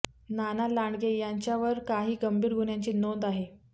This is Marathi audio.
नाना लांडगे यांच्यावर काही गंभीर गुन्ह्यांची नोंद आहे